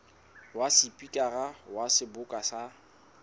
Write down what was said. wa sepikara wa seboka sa